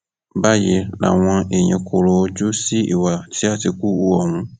báyìí làwọn èèyàn kọrọ ojú sí ìwà tí àtìkù hu ohun